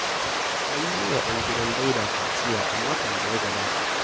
An yi wa ɗan gidan Dauda kaciya a makon da ya gabata.